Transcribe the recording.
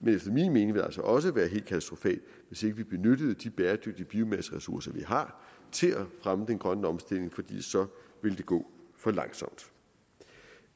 men efter min mening ville det altså også være helt katastrofalt hvis ikke vi benyttede de bæredygtige biomasseressourcer vi har til at fremme den grønne omstilling for så ville det gå for langsomt